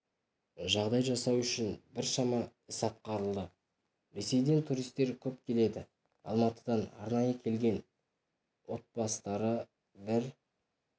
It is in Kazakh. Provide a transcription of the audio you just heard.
жағдай жасау үшін біршама іс атқарылды ресейден туристер көп келеді алматыдан арнайы келген отбастары бір